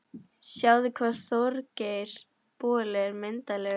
Sjáðu hvað Þorgeir boli er myndarlegur